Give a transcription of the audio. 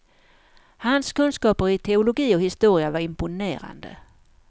Hans kunskaper i teologi och historia var imponerande.